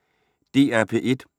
DR P1